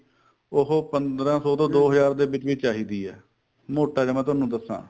ਉਹ ਪੰਦਰਾਂ ਸੋ ਤੋਂ ਦੋ ਹਜਾਰ ਦੇ ਵਿੱਚ ਵਿੱਚ ਆ ਜਾਂਦੀ ਏ ਮੋਟਾ ਜਾ ਮੈਂ ਤੁਹਾਨੂੰ ਦੱਸਾਂ